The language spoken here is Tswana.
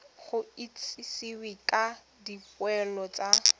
go itsisiwe ka dipoelo tsa